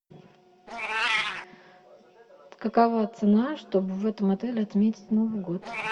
какова цена чтобы в этом отеле отметить новый год